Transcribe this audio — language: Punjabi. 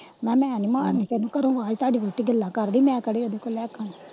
ਮੈ ਕਿਹਾ ਮੈ ਨਹੀਂ ਮਾਰਨੀ ਤੈਨੂੰ ਘਰੋਂ ਆਵਾਜ਼ ਤੁਹਾਡੀ ਵੋਹਟੀ ਗੱਲਾਂ ਕਰਦੀ ਮੈ ਕਿਹੜਾ ਓਦੇ ਕੋਲੋਂ ਲੈ ਕੇ ਖਾਣਾ।